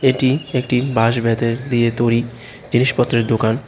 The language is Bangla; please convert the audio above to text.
এটি একটি বাঁশ বেতের দিয়ে তৈরি জিনিসপত্রের দোকান।